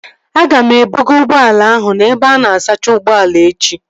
Aga m ebuga ụgbọala ahụ n'ebe ana asacha ụgbọala echi